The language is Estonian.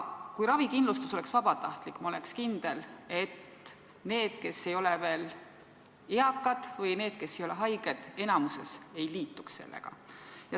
Kui ravikindlustus oleks vabatahtlik, siis ma oleks kindel, et need, kes ei ole veel eakad, või need, kes ei ole haiged, sellega enamikus ei liituks.